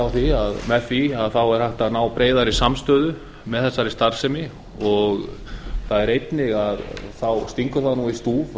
hennar verði milduð með því er hægt að ná breiðari samstöðu um þá starfsemi einnig stingur í stúf